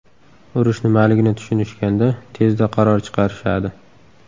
Urush nimaligini tushunishganda tezda qaror chiqarishadi.